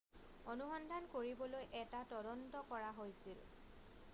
অনুসন্ধান কৰিবলৈ এটা তদন্ত কৰা হৈছিল